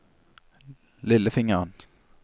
lillefingeren